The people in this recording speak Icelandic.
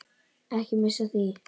Ekki missa af því.